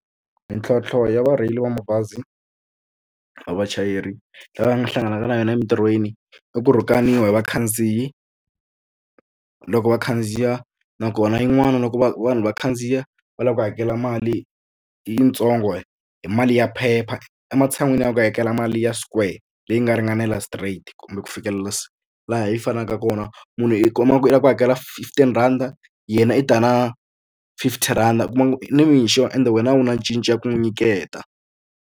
Mintlhontlho ya varheyili va mabazi va vachayeri lava hlanganaka na yona emitirhweni i ku rhukaniwa hi vakhandziyi loko va khandziya nakona yin'wana loko va vanhu va khandziya va lava ku hakela mali yitsongo hi mali ya phepha ematshan'wini ya ku hakela mali ya squarter leyi nga ringanela straight kumbe ku fikelela si laha yi fanaka kona munhu i kuma ku u lava ku hakela fifteen rhanda yena i ta na fifty rand u kuma nimixo ende wena a wu na cinca ku n'wi nyiketa.